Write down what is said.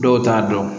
Dɔw t'a dɔn